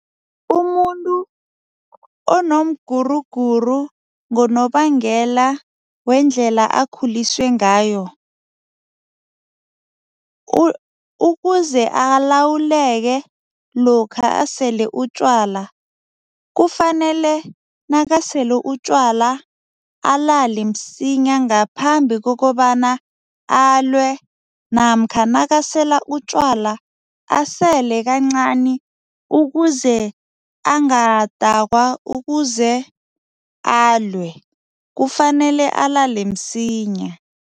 Umuntu onomguruguru ngonobangela wendlela akhuliswe ngayo, ukuze alawuleke lokha asele utjwala, kufanele nakasele utjwala alale msinya ngaphambi kokobana alwe namkha nakasela utjwala asele kancani ukuze angadakwa, ukuze alwe, kufanele alale msinya.